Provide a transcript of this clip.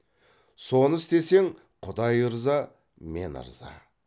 соны істесең құдай ырза мен ырза